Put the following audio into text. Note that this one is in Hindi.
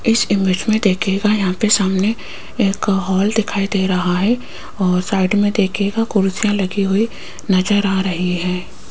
इस इमेज में देखिएगा यहां पे सामने एक हॉल दिखाई दे रहा है और साइड में देखीयेगा कुर्सियां लगी हुई नजर आ रही है।